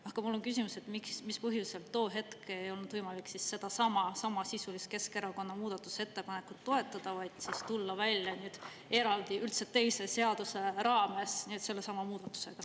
Aga mul on küsimus, et miks, mis põhjusel too hetk ei olnud võimalik sedasama, samasisulist Keskerakonna muudatusettepanekut toetada, vaid siis tulla välja eraldi üldse teise seaduse raames sellesama muudatusega.